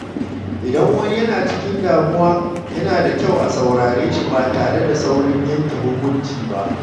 Idan wani yana cikin damuwa, yana da kyau a saurare shi ba tare da saurin yanke hukunci ba.